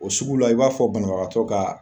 O sugu la i b'a fɔ banabagatɔ ka